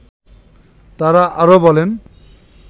তারা আরো বলেন